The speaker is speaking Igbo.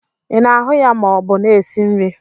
Ị na-ahu ya ma ọ bụ na-esi nri?